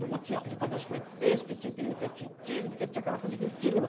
Porque tinha trinta e dois, porque tinha, porque tinha aquela coisa dificílima.